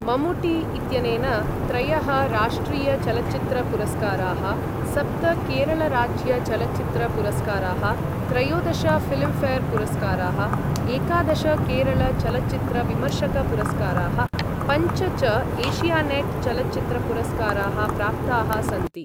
मम्मूटी इत्यनेन त्रयः राष्ट्रिय चलच्चित्र पुरस्काराः, सप्त केरळराज्य चलच्चित्र पुरस्काराः, त्रयोदश ऴिल्म्ऴेर् पुरस्काराः, एकादश केरळ चलच्चित्र विमर्शक पुरस्काराः, पञ्च च एशियानेट् चलच्चित्र पुरस्काराः प्राप्ताः सन्ति।